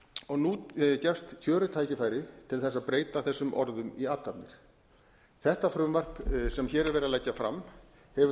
og nú gefst kjörið tækifæri til þess að breyta þessum orðum í athafnir þetta frumvarp sem hér er verið að leggja fram hefur